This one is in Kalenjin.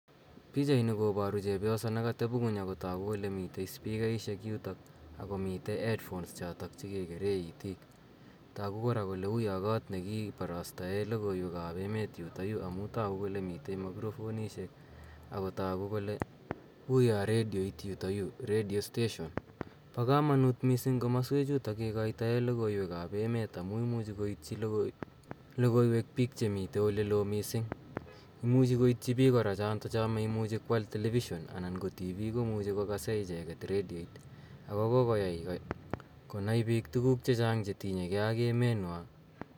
Pichaini koaru chepyoso ne katepi ng'uny ako tagu kole mitei spikaishek yutok ako mitei headphones che kekerei itiik. Tagu kora kole uya koot ne kiparastae logoiwek ap emet yutayu amu tagu kole mitei makrofonishek ago tagu kole uya redioit yutayu, redio station. Pa kamanuut missing' komaswechutok kikaitaei logoiwek ap emet, amu imuchi koityi logoiweek piik che mitei ole loo missing'. Imuchi koityi piik kora chotocho maimuchi ko al television anan ko tv ko muchi kokase icheget redioit ako kokoyai konai piik tuguuk che chang' che tinyei ge ak emenwa.